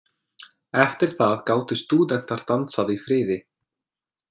Eftir það gátu stúdentar dansað í friði.